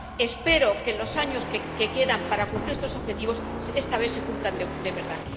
Espero que en los años que quedan para cumplir estos objetivos esta vez se cumplan de verdad.